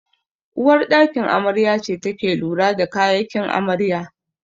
Uwar ɗakin amarya ce take lura da kayakin amarya